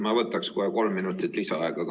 Ma võtaks kohe kolm minutit lisaaega ka.